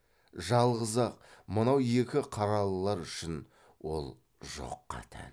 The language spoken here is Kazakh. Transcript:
жалғыз ақ мынау екі қаралылар үшін ол жоққа тән